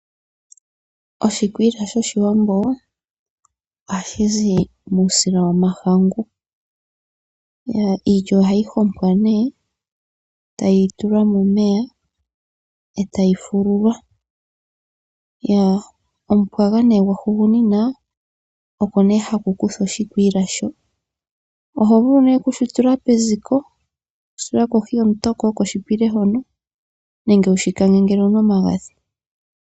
Oshikwiila shoshiwamboo ohashizi muusila womahangu. Iilya ohayi hompwa nee tayitulwa momeya etayi fululwa. Omupwaga nee gwahugunina oko nee hakukuthwa oshikwiila sho. Ohovulu nee okushitula peziko toshitula kohi yomutoko oko shipile hono, nenge wushikange ngele owuna omagadhi.